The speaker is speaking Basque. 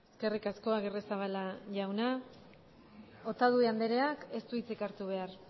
eskerrik asko agirrezabala jauna otadui andreak ez du hitzik hartu behar